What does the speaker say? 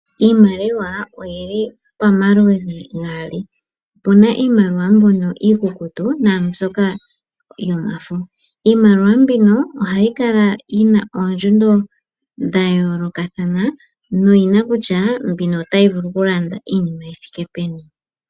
Iimaliwa oyili pamaludhi gaali opuna iimaliwa mbono iikukutu naambyoka yomafa .iimaliwa mbino ohayi kala yina oondjundu dha yolokathana noyina kutya mbino otayi vulu kulanda iinima yithike peni.